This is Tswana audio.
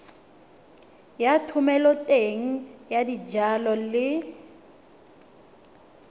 ya thomeloteng ya dijalo le